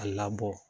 A labɔ